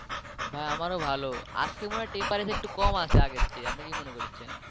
ভাই আমারও ভালো আজকে মনে হয় temperature একটু কম আছে আগের চেয়ে আপনি কি মনে করছেন?